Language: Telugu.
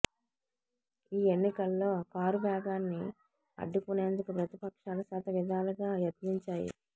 ఈ ఎన్నికల్లో కారు వేగాన్ని అ డ్డుకునేందుకు ప్రతిపక్షాలు శతవిధాలుగా య త్నించాయి